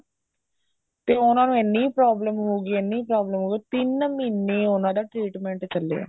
ਤੇ ਉਹਨਾ ਨੂੰ ਇੰਨੀ problem ਹੋ ਗਈ ਇੰਨੀ problem ਹੋ ਗਈ ਤਿੰਨ ਮਹੀਨੇ ਉਹਨਾ ਦਾ treatment ਚੱਲਿਆ